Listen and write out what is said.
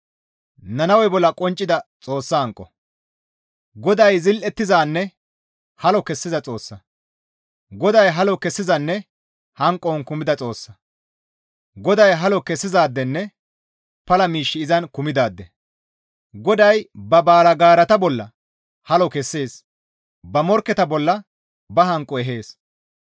GODAY zil7ettizanne halo kessiza Xoossa; GODAY halo kessizanne hanqon kumida Xoossa. GODAY halo kessizaadenne pala miishshi izan kumidaade. GODAY ba baalgaarata bolla halo kessees; ba morkketa bolla ba hanqo ehees.